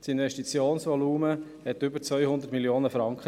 Das Investitionsvolumen betrug über 200 Mio. Franken.